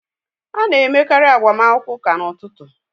A na-emekarị agbamakwụkwọ ụka n'ụtụtụ